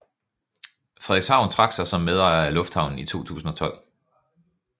Frederikshavn trak sig som medejer af lufthavnen i 2012